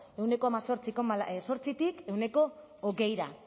ehuneko hemezortzi koma zortzitik ehuneko hogeira